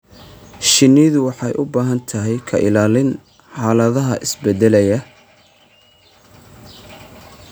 Shinnidu waxay u baahan tahay ka ilaalin xaaladaha isbeddelaya.